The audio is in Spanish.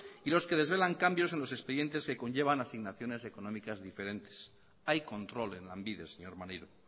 y los que desvelan cambios en los expedientes que conllevan asignaciones económicas diferentes hay control en lanbide señor maneiro